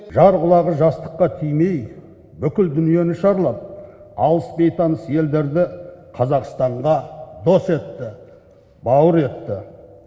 жар құлағы жастыққа тимей бүкіл дүниені шарлап алыс бейтаныс елдерді қазақстанға дос етті бауыр етті